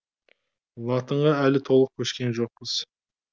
латынға әлі толық көшкен жоқпыз